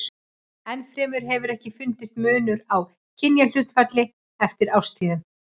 Enn fremur hefur ekki fundist munur á kynjahlutfalli eftir árstíðum.